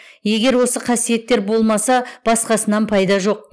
егер осы қасиеттер болмаса басқасынан пайда жоқ